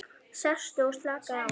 Sestu og slakaðu á.